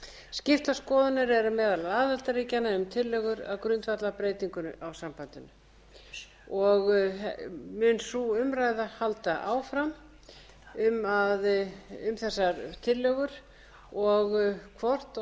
skiptar skoðanir eru meðal aðildarríkjanna um tillögur að grundvallarbreytingum á sambandinu og mun sú umræða halda áfram um þessar tillögur og hvort og